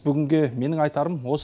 бүгінге менің айтарым осы